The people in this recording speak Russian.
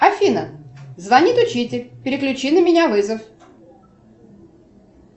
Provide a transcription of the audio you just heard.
афина звонит учитель переключи на меня вызов